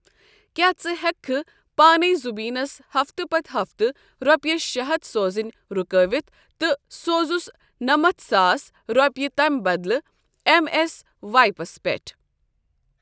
کیا ژٕ ہیکِہ کھہ پانے زُبیَٖسن ہفتہٕ پتہٕ ہفتہٕ رۄپیَس شٚے ہتھ سوزٕنۍ رُکاوِتھ تہٕ سوزُس نَمتھساس رۄپیہِ تٔمۍ بدلہٕ ایٚم ایٚس وایپَس پیٹھ؟